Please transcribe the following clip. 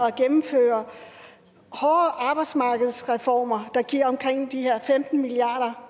at gennemføre hårdere arbejdsmarkedsreformer der giver omkring de her femten milliard